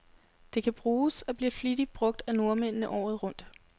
Det kan bruges, og bliver flittigt brug af nordmændene, året rundt.